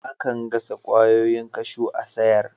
Akan gasa kwayoyin kashew a'sayar.